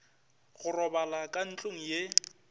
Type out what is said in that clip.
go robala ka ntlong ye